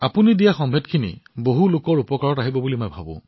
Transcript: আপুনি যি তথ্য প্ৰদান কৰিলে মই ভাবো বহু লোক উপকৃত হব ইয়াৰ জৰিয়তে